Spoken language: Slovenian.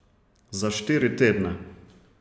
Za štiri tedne.